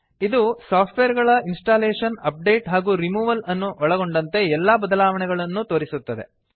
ಇದು ಸಾಫ್ಟ್ವೇರ್ ಗಳ installation update ಹಾಗೂ ರಿಮೂವಲ್ ಅನ್ನು ಒಳಗೊಂಡಂತೆ ಎಲ್ಲಾ ಬದಲಾವಣೆಗಳನ್ನೂ ತೋರಿಸುತ್ತದೆ